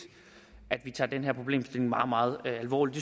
at vi tager den her problemstilling meget meget alvorligt